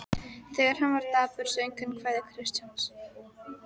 Þegar hann var dapur söng hann kvæði Kristjáns